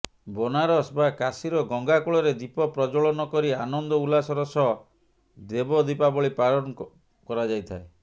ବନାରସ୍ ବା କାଶୀର ଗଙ୍ଗା କୂଳରେ ଦୀପ ପ୍ରଜ୍ୱଳନ କରି ଆନନ୍ଦ ଉଲ୍ଲାସର ସହ ଦେବଦୀପାବଳି ପାଳନ କରାଯାଇଥାଏ